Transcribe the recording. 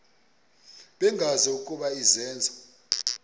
bengazi ukuba izenzo